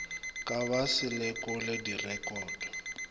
ba ka se lekole direkoto